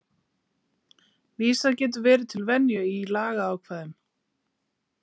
Vísað getur verið til venju í lagaákvæðum.